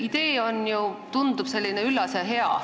Idee on ju, tundub, üllas ja hea.